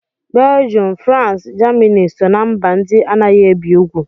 Belgium, France, Germany so ná mba ndị anaghị ebi ugwu